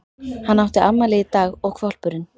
Hann átti afmæli í dag og hvolpurinn